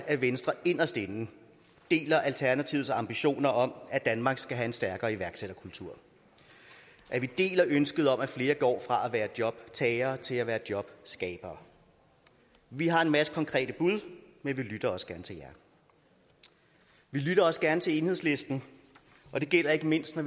at venstre inderst inde deler alternativets ambition om at danmark skal have en stærkere iværksætterkultur og at vi deler ønsket om at flere skal gå fra at være jobtagere til at være jobskabere vi har en masse konkrete bud men vi lytter også gerne til jer vi lytter også gerne til enhedslisten og det gælder ikke mindst når